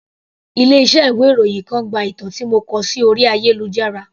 Ilé iṣẹ́ ìwé ìròyìn kan gba ìtàn tí mo kọ sí orí ayélujára.